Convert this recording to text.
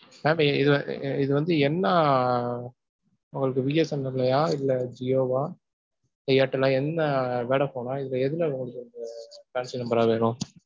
Mam இது வந்து, இது வந்து என்ன உங்களுக்கு பிஎஸ்என்எல்லையா இல்ல ஜியோவா? இல்ல ஏர்டெல்லா? என்ன வோடபோனா, இதுல எது madam உங்களுக்கு fancy number ஆ வேணும்?